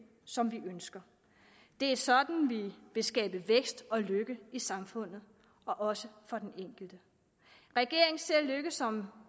som vi ønsker det er sådan vi vil skabe vækst og lykke i samfundet også for den enkelte regeringen ser lykke som